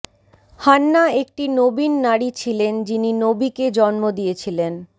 Hannah একটি নবীন নারী ছিলেন যিনি নবীকে জন্ম দিয়েছিলেন